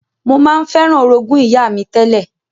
Mo ma n feran orogún ìyá mi tẹ́lẹ̀